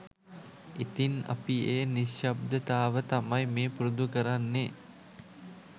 ඉතින් අපි ඒ නිශ්ශබ්දතාව තමයි මේ පුරුදු කරන්නෙ